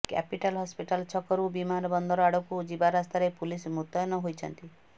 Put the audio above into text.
capital hospital ଛକରୁ ବିମାନବନ୍ଦର ଆଡ଼କୁ ଯିବା ରାସ୍ତାରେ ପୁଲିସ ମୁତୟନ ହୋଇଛନ୍ତି